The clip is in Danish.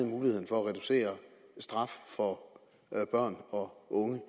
muligheden for at reducere straffen for børn og unge